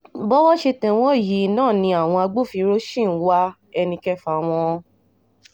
bọ́wọ́ ṣe tẹ̀ wọ́n yìí náà ni àwọn agbófinró sì ń wá ẹnì kẹfà wọn